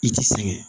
I ti sɛgɛn